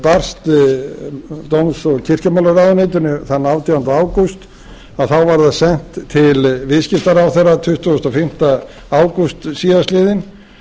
barst dóms og kirkjumálaráðuneytinu þann átjánda ágúst að þá var það sent til viðskiptaráðherra tuttugasta og fimmta ágúst síðastliðinn